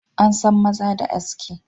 An san maza da aski.